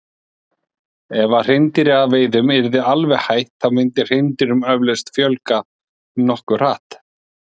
ef hreindýraveiðum yrði alveg hætt þá myndi hreindýrum eflaust fjölga nokkuð hratt